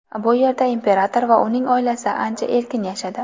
Bu yerda imperator va uning oilasi ancha erkin yashadi.